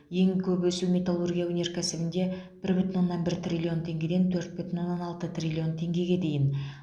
ең көп өсу металлургия өнеркәсібінде бір бүтін оннан бір триллион теңгеден төрт бүтін оннан алты триллион теңгеге дейін